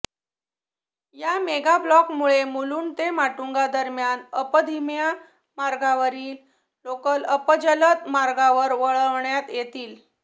या मेगाब्लॉकमुळे मुलुंड ते माटुंगादरम्यान अप धिम्या मार्गावरील लोकल अप जलद मार्गावर वळवण्यात येतील